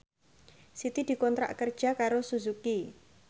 Siti dikontrak kerja karo Suzuki